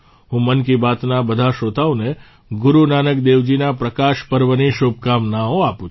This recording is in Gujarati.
હું મન કી બાતના બધા શ્રોતાઓને ગુરુ નાનક દેવજીના પ્રકાશ પર્વની શુભકામનાઓ આપું છું